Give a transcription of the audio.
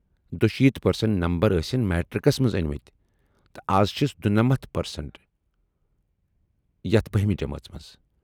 دُشیت percent number ٲسِن میٹرکس منز ٲنۍمٕتۍ تہٕ از چھِس دُنمتھ پرسنٹ یتھ بۂمہِ جمٲژ منٛز ۔